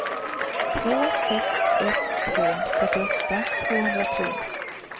två sex ett två fyrtioåtta tvåhundratre